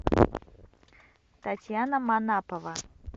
татьяна манапова